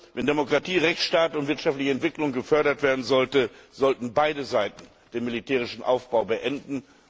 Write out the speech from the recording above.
Wenn Demokratie, Rechtsstaat und wirtschaftliche Entwicklung gefördert werden sollen, sollten beide Seiten den militärischen Aufbau beenden.